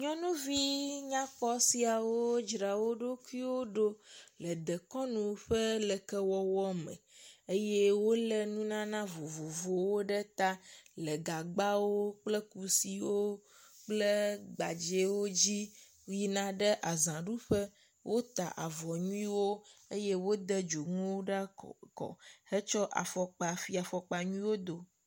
Nyɔnuvi nyakpɔ siawo dzra wo ɖokuiwo ɖo le dekɔnu ƒe lekewɔwɔ me eye wo le nunana vovovowo ɖe ta le gbawo kple kusiwo kple gbadzewo dzi yina ɖe azaɖuƒe wota avɔ nyuiwo eye wode dzonuwo ɖe kɔ kɔ hetsɔ afɔkpa fiafɔkpa nyuiwo do.